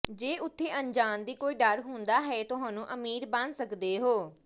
ਜੇ ਉੱਥੇ ਅਣਜਾਣ ਦੀ ਕੋਈ ਡਰ ਹੁੰਦਾ ਹੈ ਤੁਹਾਨੂੰ ਅਮੀਰ ਬਣ ਸਕਦੇ ਹੋ